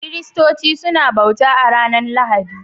Kiristoci suna bauta a'ranan Lahadi.